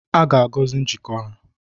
A ga-agọzi njikọ ha